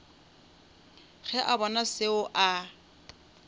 ge a bona seo a